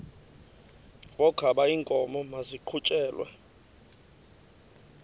wokaba iinkomo maziqhutyelwe